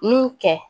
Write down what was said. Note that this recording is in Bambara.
N y'u kɛ